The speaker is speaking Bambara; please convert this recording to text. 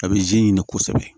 A bɛ ɲini kosɛbɛ